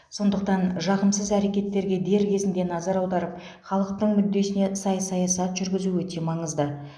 сондықтан жағымсыз әрекеттерге дер кезінде назар аударып халықтың мүддесіне сай саясат жүргізу өте маңызды